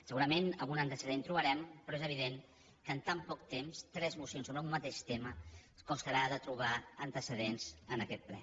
segurament algun antecedent trobarem però és evident que en tan poc temps tres mo cions sobre un mateix tema ens costarà de trobar antece dents en aquest ple